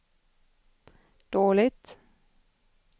dåligt